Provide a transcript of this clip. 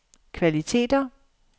kvaliteter